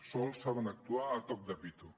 sols saben actuar a toc de pito